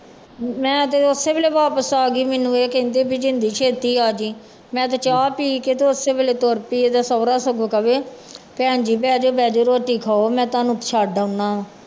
ਮੈਂ ਤੇ ਉਸੇ ਵੇਲੇ ਵਾਪਸ ਆ ਗਈ ਮੈਨੂੰ ਇਹ ਕਹਿੰਦੇ ਵੀ ਜਿੰਦੀ ਛੇਤੀ ਆ ਜਾਈ, ਮੈਂ ਤੇ ਚਾਹ ਪੀ ਕੇ ਤੇ ਉਸੇ ਵੇਲੇ ਤੁਰ ਪਈ ਇਹਦਾ ਸਹੁਰਾ ਸਗੋਂ ਕਵੇ ਭੈਣ ਜੀ ਬਹਿ ਜਾਓ ਬਹਿ ਜਾਓ ਰੋਟੀ ਖਾਓ ਮੈਂ ਤੁਹਾਨੂੰ ਛੱਡ ਆਉਨਾ।